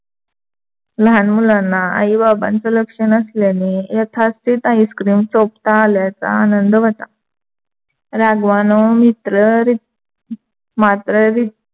लहान मुलांना आई बाबांचं लक्ष नसल्याने यथास्तीत icecream चोपता आल्याचा आनंद व्‍हता. राघवानी मित्र मात्र रित्व